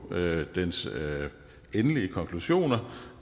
dens endelige konklusioner